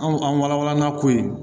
Anw an walannakoyi